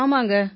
ஆமாங்க